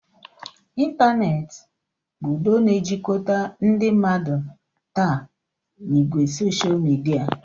Ịntaneetị bụ ụdọ na-ejikọta ndị mmadụ taa n'ìgwè soshal midia